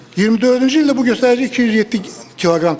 24-cü ildə bu göstərici 207 kq təşkil edir.